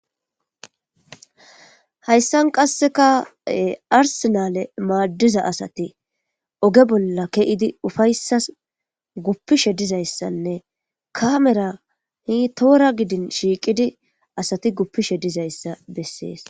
Hayssan qassikka arssenaale maddiza asathi oge bolla ke7idi ufayssas guppishe dizayssanne kaamera hiiththoora gidin shiiqidi asati guppishe dizayssa bessees.